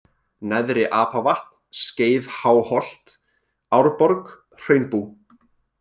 Neðra-Apavatn, Skeiðháholt, Árborg, Hraunbú